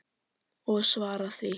Og svara því.